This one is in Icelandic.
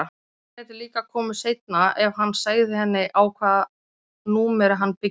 Hún gæti líka komið seinna ef hann segði henni á hvaða númeri hann byggi.